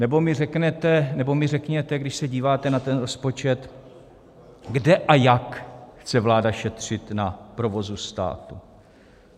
Nebo mi řekněte, když se díváte na ten rozpočet, kde a jak chce vláda šetřit na provozu státu.